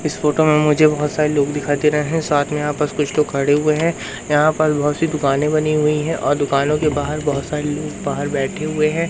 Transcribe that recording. इस फोटो में मुझे बहोत सारे लोग दिखाई दे रहे हैं साथ में यहां पास कुछ लोग खड़े हुए हैं यहां पर बहोत सी दुकाने बनी हुई हैं और दुकानों के बाहर बहोत सारे लोग बाहर बैठे हुए हैं।